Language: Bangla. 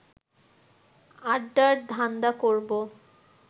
আড্ডার ধান্দা করব